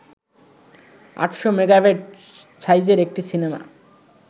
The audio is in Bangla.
আটশ’ মেগাবাইট সাইজের একটি সিনেমা